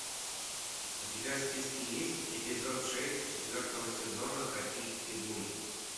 у тебя в списке есть эпизод шесть четвертого сезона токийский гуль